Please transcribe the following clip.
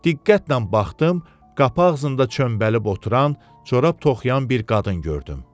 Diqqətlə baxdım, qapı ağzında çömbəlib oturan, corab toxuyan bir qadın gördüm.